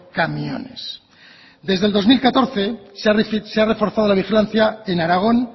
camiones desde el dos mil catorce se ha reforzado la vigilancia en aragón